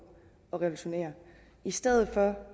og revolutionere i stedet for